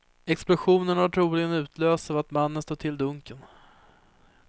Explosionen har troligen utlösts av att mannen stött till dunken.